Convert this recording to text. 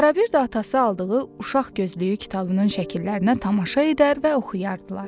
Ara-bir də atası aldığı uşaq gözlüyü kitabının şəkillərinə tamaşa edər və oxuyardılar.